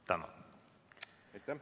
Tänan!